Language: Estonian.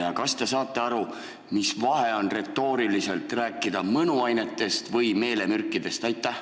Ja kas te saate aru, mis vahe on, kui rääkida kas mõnuainetest või meelemürkidest?